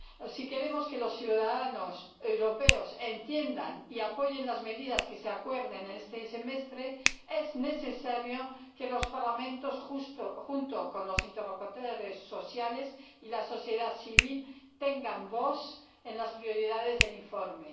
Si queremos que los ciudadanos europeos entiendan y apoyen las medidas que se acuerdan en este Semestre, es necesario que los Parlamentos, junto con los interlocutores sociales y la sociedad civil, tengan voz en las prioridades del informe.